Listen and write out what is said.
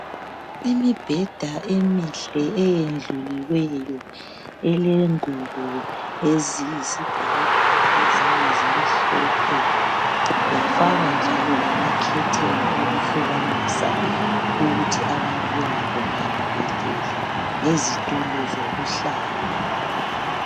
imibheda emihle eyendluliweyo elengubo eziyisibhakabhaka ezinye zimhlophe zafakwa njalo lamakhetheni okuhlukanisa ukuthi abantu bengabonani belele lezitulo zokuhlala